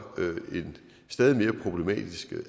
en stadig mere problematisk